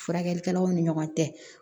Furakɛlikɛlaw ni ɲɔgɔn cɛ